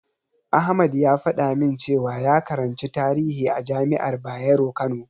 Ahmad ya faɗa min cewa ya karanci tarihi a jami'ar Bayero Kano.